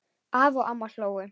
Afi og amma hlógu.